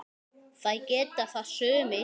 Það geta það sumir.